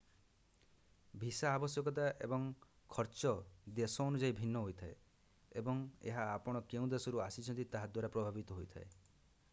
visa ଆବଶ୍ୟକତା ଏବଂ ଖର୍ଚ୍ଚ ଦେଶ ଅନୁଯାୟୀ ଭିନ୍ନ ହୋଇଥାଏ ଏବଂ ଏହା ଆପଣ କେଉଁ ଦେଶରୁ ଆସିଛନ୍ତି ତାହା ଦ୍ୱାରା ପ୍ରଭାବିତ ହୋଇଥାଏ